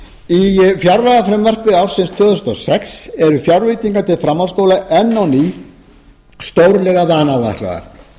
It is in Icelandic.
í fjárlagafrumvarpi ársins tvö þúsund og sex eru fjárveitingar til framhaldsskóla enn á ný stórlega vanáætlaðar